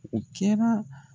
O kɛra